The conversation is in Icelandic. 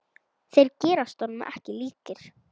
Þeir gerast ekki honum líkir.